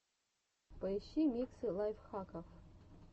поищи миксы лайфхаков